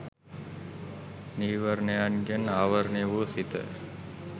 නීවරණයන්ගෙන් ආවරණය වූ සිත